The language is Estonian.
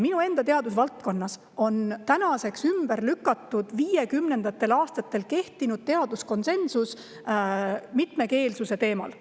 Minu enda teadusvaldkonnas on tänaseks ümber lükatud viiekümnendatel aastatel kehtinud teaduskonsensus mitmekeelsuse teemal.